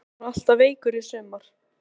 Manstu hann var alltaf veikur í sumar?